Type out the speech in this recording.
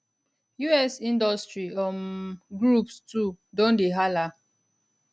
us industry um groups too don dey hala